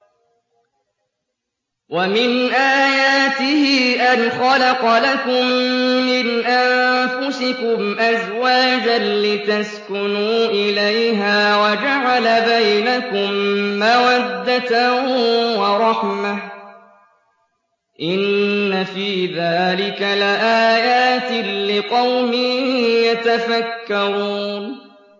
وَمِنْ آيَاتِهِ أَنْ خَلَقَ لَكُم مِّنْ أَنفُسِكُمْ أَزْوَاجًا لِّتَسْكُنُوا إِلَيْهَا وَجَعَلَ بَيْنَكُم مَّوَدَّةً وَرَحْمَةً ۚ إِنَّ فِي ذَٰلِكَ لَآيَاتٍ لِّقَوْمٍ يَتَفَكَّرُونَ